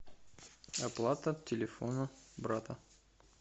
оплата телефона брата